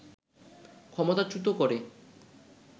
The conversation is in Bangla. ক্ষমতাচ্যুত করে